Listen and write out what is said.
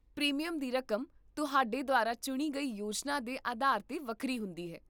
premium ਦੀ ਰਕਮ ਤੁਹਾਡੇ ਦੁਆਰਾ ਚੁਣੀ ਗਈ ਯੋਜਨਾ ਦੇ ਅਧਾਰ 'ਤੇ ਵੱਖਰੀ ਹੁੰਦੀ ਹੈ